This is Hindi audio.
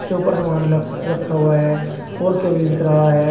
इसके ऊपर समान ल रखा हुआ है और केबिल दिख रहा है।